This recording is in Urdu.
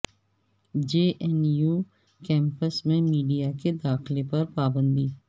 جے این یو کیمپس میں میڈیا کے داخلہ پر پابندی